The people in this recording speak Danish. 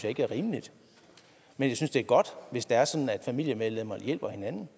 ikke er rimeligt men jeg synes det er godt hvis det er sådan at familiemedlemmer hjælper hinanden